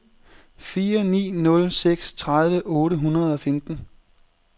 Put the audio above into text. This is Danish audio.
fire ni nul seks tredive otte hundrede og femten